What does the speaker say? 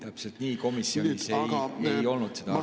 Täpselt nii, komisjonis ei olnud see arutelul.